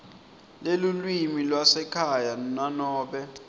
lelulwimi lwasekhaya nanobe